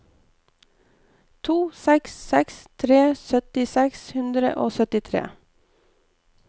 to seks seks tre sytti seks hundre og syttitre